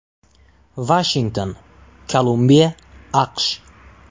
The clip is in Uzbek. Vashington, Kolumbiya, AQSh.